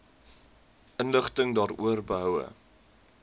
inligting daaroor behoue